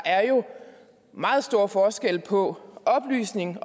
meget stor forskel på oplysning